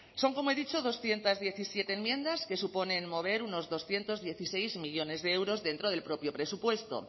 son como he dicho doscientos diecisiete enmiendas que suponen mover unos doscientos dieciséis millónes de euros dentro del propio presupuesto